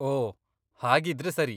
ಓಹ್, ಹಾಗಿದ್ರೆ ಸರಿ.